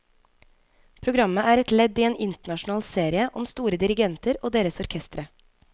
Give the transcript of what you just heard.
Programmet er et ledd i en internasjonal serie om store dirigenter og deres orkestre.